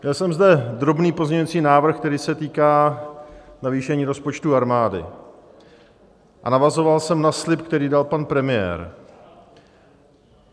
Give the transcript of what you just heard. Měl jsem zde drobný pozměňovací návrh, který se týká navýšení rozpočtu armády, a navazoval jsem na slib, který dal pan premiér.